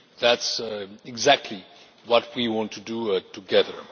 That is exactly what we want to do together.